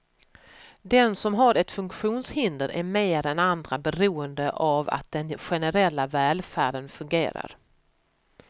Den som har ett funktionshinder är mer än andra beroende av att den generella välfärden fungerar.